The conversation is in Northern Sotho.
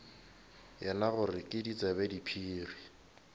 yena gore ke tsebe diphiri